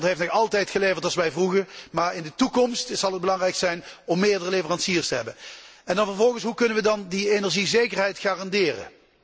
Rusland heeft nog altijd geleverd als wij vroegen, maar in de toekomst zal het belangrijk zijn om meerdere leveranciers te hebben. Vervolgens, hoe kunnen we dan die energiezekerheid garanderen?